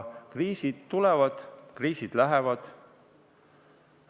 Kriisid tulevad, kriisid lähevad.